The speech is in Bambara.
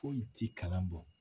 Foyi ti kalan bɔ.